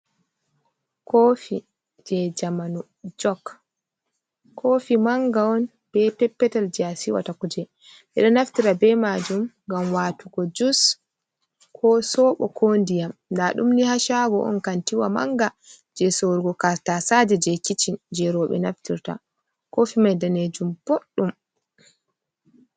Kofi je jamanu jok kofi manga on be peppetal je a siwata, kuje ɓeɗo naftira be majum ngam watugo jus ko sobo, ko diyam, nda ɗum ni ha shago on kantiwa manga je sorrugo tasaje je kicin, je roɓe naftirta kofi mai danejum boɗɗum.